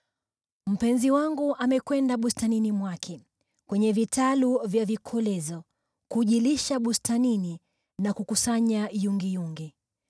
Mpenzi wangu amekwenda bustanini mwake, kwenye vitalu vya vikolezo, kujilisha bustanini na kukusanya yungiyungi.